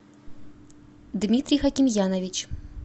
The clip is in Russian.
дмитрий хакимьянович